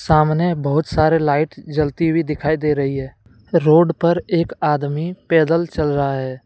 सामने बहुत सारे लाइट जलती हुई दिखाई दे रही है। रोड पर एक आदमी पैदल चल रहा है।